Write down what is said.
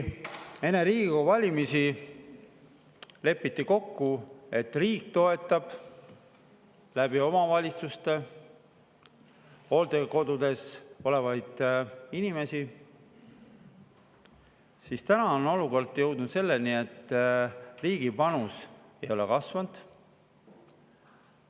Enne Riigikogu valimisi lepiti kokku, et riik toetab omavalitsuste kaudu hooldekodudes olevaid inimesi, aga tänases olukorras pole riigi panus kasvanud.